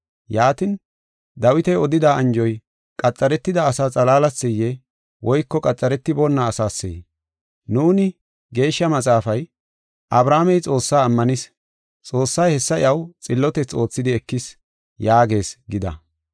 Yaatin, Dawiti odida anjoy qaxaretida asaa xalaalaseyee? Woyko qaxaretiboona asaasee? Nuuni, “Geeshsha Maxaafay, ‘Abrahaamey Xoossaa ammanis; Xoossay hessa iyaw xillotethi oothidi ekis’ yaagees” gida.